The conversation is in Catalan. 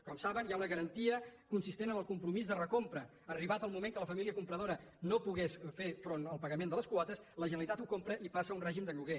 com saben hi ha una garantia que consisteix en el compromís de recompra arribat el moment que la família compradora no pogués fer front al pagament de les quotes la generalitat ho compraria i passa a un règim de lloguer